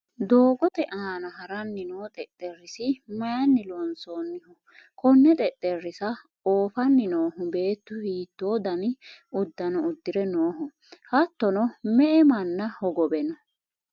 doogote aana haranni noo xexxerrisi mayiinni loonsoonniho? konne xexxerisa oofanni noohu beettu hiitto dani uddano uddire nooho hattono me''e manna hogowe no?